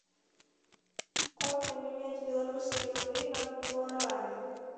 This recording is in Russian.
как поменять белорусские рубли на гуарани